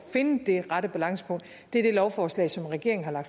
finde det rette balancepunkt er det lovforslag som regeringen har